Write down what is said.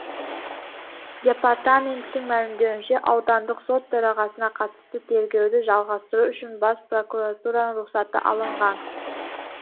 департаменттің мәлімдеуінше аудандық сот төрағасына қатысты тергеуді жалғастыру үшін бас прокуратураның рұқсаты алынған